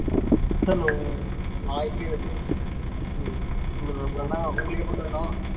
hello உங்களுக்கு எப்ப கல்யாணம்